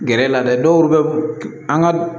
Gɛrɛ la dɛ dɔw bɛ an ka